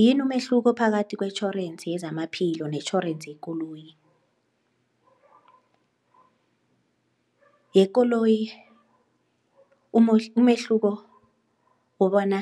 Yini umehluko phakathi kwetjhorensi yezamaphilo netjhorensi yekoloyi? Yekoloyi umehluko kobana